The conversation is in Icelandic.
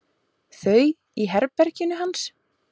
Þau í herberginu hans.